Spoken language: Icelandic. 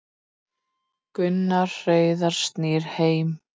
Gunnar Heiðar snýr heim